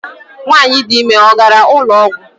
Nwanyị dị ime ọ gara ụlọ ọgwụ?